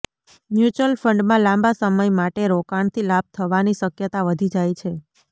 mutual ફંડમાં લાંબા સમય માટે રોકાણથી લાભ થવાની શક્યતા વધી જાય છે